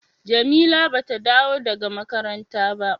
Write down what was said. Jamila ba ta dawo daga makaranta ba.